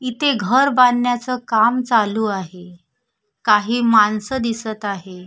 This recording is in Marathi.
इथे घर बांधण्याच काम चालू आहे काही माणस दिसत आहे.